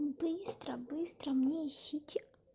быстро быстро мне ищите